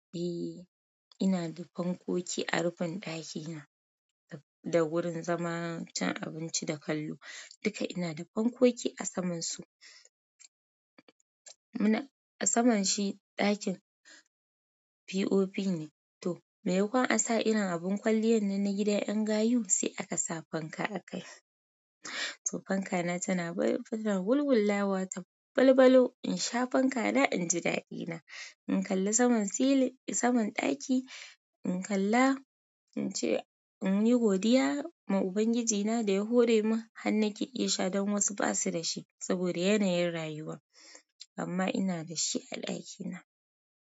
Eh ina da fankoki a rufin ɗakina da wurin zama cin abinci da kallo duka ina da fankoki a saman su. Muna a saman shi, ɗakin. POP ne, to mai makon a sa irin abin kwaliyan na gidan ƴan gayu sai aka sa fanka a kai. To fanka na tana wulwul lawa ta balbalo in sha fanka na inji daɗina. In kalla saman silin saman ɗaki in kalla ince in yi godiya ma Ubangiji na da ya hore mun, hannun ki iya sha don wasu basu da shi saboda yanayin rayuwa. Amma ina da shi a ɗakina.